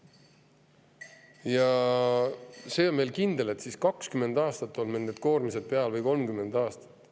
Ja kindel on see, et siis on meil 20 või 30 aastat need koormused peal.